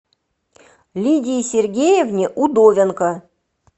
лидии сергеевне удовенко